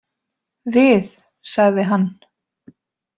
Við, sagði hann.